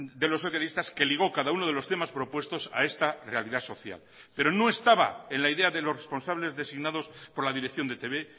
de los socialistas que ligo cada uno de los temas propuestos a esta realidad social pero no estaba en la idea de los responsables designados por la dirección de etb